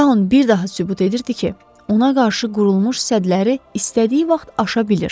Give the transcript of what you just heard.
Tanın bir daha sübut edirdi ki, ona qarşı qurulmuş sədləri istədiyi vaxt aşa bilir.